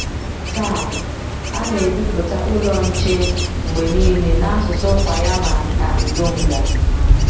Taa, a na - ebipụta Ụlọ Nche mgbe nile n’asụsụ Kwanyama na Ndonga.